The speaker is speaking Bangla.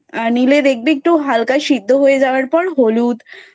নিলে দেখবি একটু হালকা সিদ্ধ হয়ে যাওয়ার পর হলুদ,